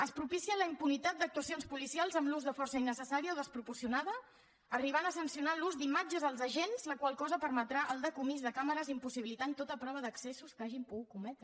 es propicia la impunitat d’actuacions policials amb l’ús de força innecessària o desproporcionada i s’arriba a sancionar l’ús d’imatges als agents la qual cosa permetrà el decomís de càmeres i impossibilitarà tota prova d’excessos que hagin pogut cometre